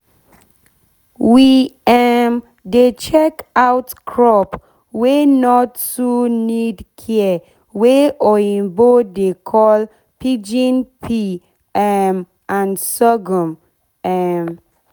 we um dey check out crop wey nor too need care wey oyibo dey call pigeon pea um and sorghum um